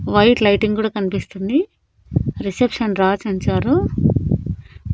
White lighting గుడ కనిపిస్తుంది reception రాజ్ అంచారు.